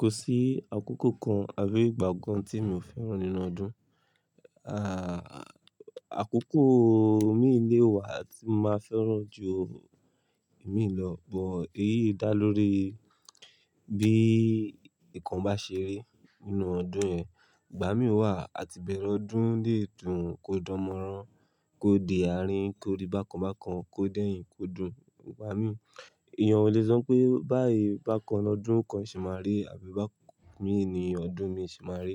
Kò sí àkókò kan àbí ìgbà kan tí mi ò fẹ́ràn nínú ọdún. Àkókò mí lé wa tí mo máa fẹ́ràn jù èmi lọ, but èyí dá lórí bí ǹkan bá ṣe rí nínú ọdún yẹn. Ìgbà mìí wà, ati ìbẹ̀rẹ ọdún léèdùn kó dánmọ́rán, kó di àárín, kó rí bákan bákan, kó dẹ̀ yìn, kó dùn. Ìgbà mì, èèyàn ò le sọ pé báyì bákan lọ́dún kan ṣe máa rí àbí bámiì ní ọdún mìíràn ṣe máa rí.